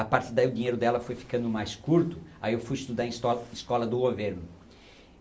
A partir daí o dinheiro dela foi ficando mais curto, aí eu fui estudar em esto escola do governo.